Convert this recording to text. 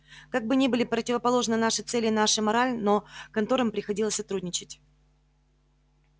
как бы ни были противоположны наши цели и наша мораль но конторам приходилось сотрудничать